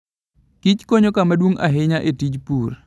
Kich konyo kama duong' ahinya e tij pur.